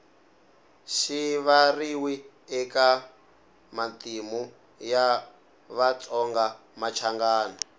rivariwi eka matimu ya vatsongamachangana